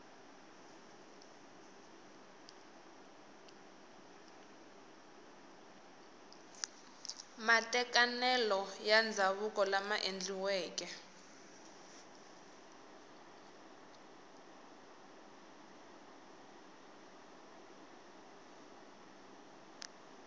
matekanelo ya ndzhavuko lama endliweke